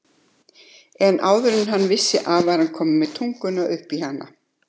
En áður en hann vissi var hann kominn með tunguna upp í hana.